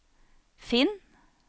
finn